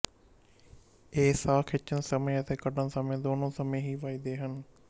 ਇਹ ਸਾਹ ਖਿੱਚਣ ਸਮੇਂ ਅਤੇ ਕੱਢਣ ਸਮੇਂ ਦੋਨੋਂ ਸਮੇਂ ਹੀ ਵੱਜਦੇ ਹਨ